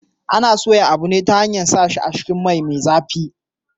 Ana soya abu ne ta hanyar sa shi a cikin mai me zafi